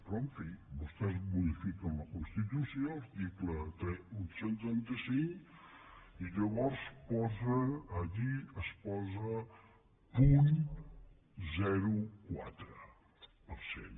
però en fi vostès modifiquen la constitució article cent i trenta cinc i llavors allí es posa punt zero coma quatre per cent